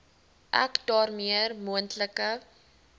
ek daarmee moontlike